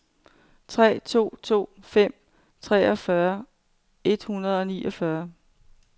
tre to to fem treogfyrre et hundrede og niogfyrre